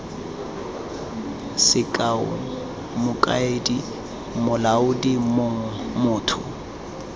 sekao mokaedi molaodi mong motho